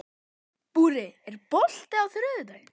Búri, er bolti á þriðjudaginn?